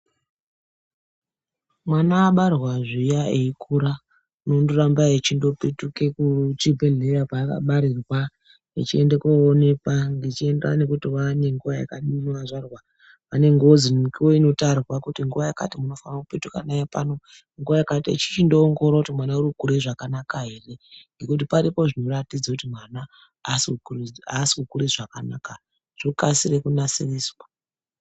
Mwana abarwa zviya eikura unondoramba echindopetuke kuchibhehleya kwakabarirwa echienda koonekwa zvechienda nekuti wane nguwa yakadini wazvarwa, pane ngozi mukuwo inotarwa kuti nguwa yakati munofana kupetuka naye pano echichindoongorora kuti mwana uri kukura zvakanaka ere ngekuti paripo zvinoratidze kuti mwana asi kukure zvakanaka zvokasire kunasiriswa.